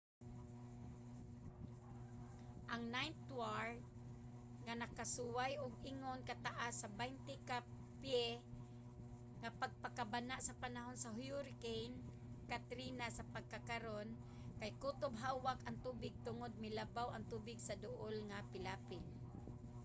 ang ninth ward nga nakasuway og ingon ka taas sa 20 ka pye nga pagbaha sa panahon sa hurricane katrina sa pagkakaron kay kutob hawak ang tubig tungod milabaw ang tubig sa duol nga pilapil